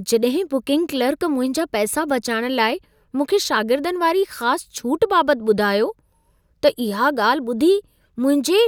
जॾहिं booking clerk मुंहिंजा पैसा बचाइण लाइ मूंखे शागिर्दनि वारी ख़ासि छूट बाबत ॿुधायो, त इहा ॻाल्हि ॿुधी मुंहिंजे